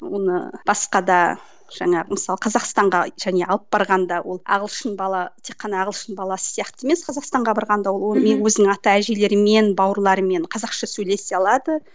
оны басқа да жаңағы мысалы қазақстанға және алып барғанда ол ағылшын бала тек қана ағылшын баласы сияқты емес қазақстанға барғанда ол өзінің ата әжелерімен бауырларымен қазақша сөйлесе алады